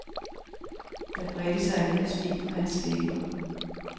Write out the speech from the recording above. Der bredte sig et lille smil på hans læber.